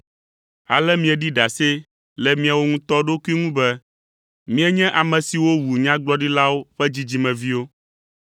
Ale mieɖi ɖase le miawo ŋutɔ ɖokui ŋu be, mienye ame siwo wu nyagblɔɖilawo ƒe dzidzimeviwo.